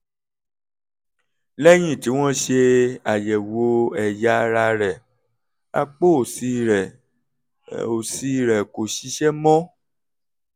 lẹ́yìn tí wọ́n ṣe àyẹ̀wò ẹ̀yà ara rẹ̀ apá òsì rẹ̀ òsì rẹ̀ kò ṣiṣẹ́ mọ́